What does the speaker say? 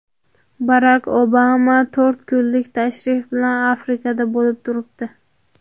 Barak Obama to‘rt kunlik tashrif bilan Afrikada bo‘lib turibdi.